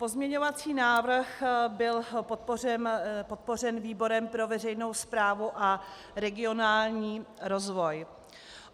Pozměňovací návrh byl podpořen výborem pro veřejnou správu a regionální rozvoj.